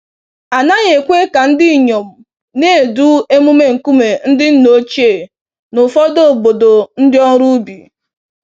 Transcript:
A naghị ekwe ka ndinyom na-edu emume nkume ndị nna ochie n'ụfọdụ obodo ndị ọrụ ubi.